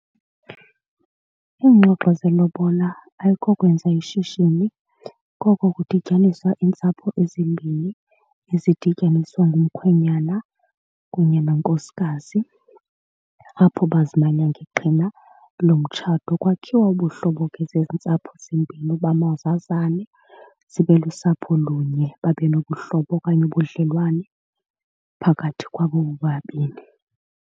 Iingxoxo zelobola ayiko kwenza ishishini, koko kudityaniswa iintsapho ezimbini ezidityaniswa ngumkhwenyana kunye nonkosikazi apho bazimanye ngeqhina lomtshato. Kwakhiwa ubuhlobo ke zezi ntsapho zimbini uba mazazana zibe lusapholunye, babe nobuhlobo okanye ubudlelwane phakathi kwabo bobabini.